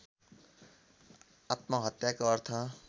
आत्महत्याको अर्थ